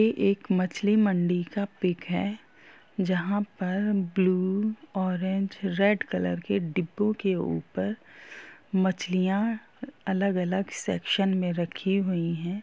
यह ये एक मछली मंडी का पिक है जहां पर ब्लू ऑरेंज रेड कलर के डब्बो के ऊपर मछलियां अलग-अलग सेक्शन में रखी हुई है।